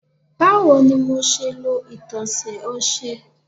Bawo ni MO ṣe lo itọsẹ ọṣẹ